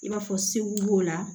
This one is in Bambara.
I b'a fɔ segu b'o la